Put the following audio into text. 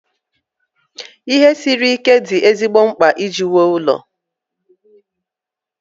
Ihe siri ike dị ezigbo mkpa iji wuo ụlọ.